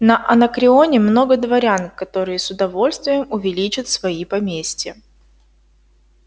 на анакреоне много дворян которые с удовольствием увеличат свои поместья